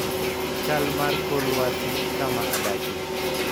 chal mar kor lwasi kama adakie